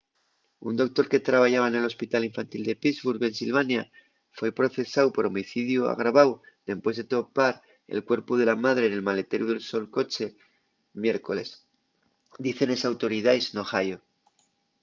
un doctor que trabayaba nel hospital infantil de pittsburgh pensilvania foi procesáu por homicidiu agraváu dempués de topar el cuerpu de la madre nel maleteru del so coche'l miércoles dicen les autoridaes n'ohio